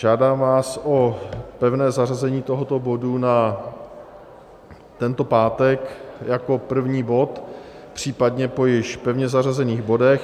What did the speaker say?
Žádám vás o pevné zařazení tohoto bodu na tento pátek jako první bod, případně po již pevně zařazených bodech.